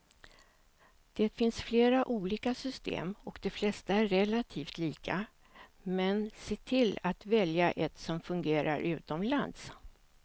Det finns flera olika system och de flesta är relativt lika, men se till att välja ett som fungerar utomlands.